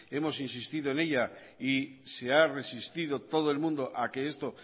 hemos insistido en ella y se ha resistido todo el mundo a que esto